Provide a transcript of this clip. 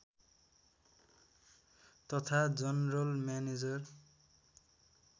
तथा general manager